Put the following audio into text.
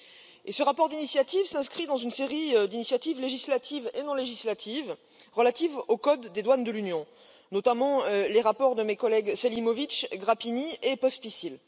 Et ce rapport d'initiative s'inscrit dans une série d'initiatives législatives et non législatives relatives au code des douanes de l'Union, notamment les rapports de mes collègues Selimovic, Grapini et Pospíšil.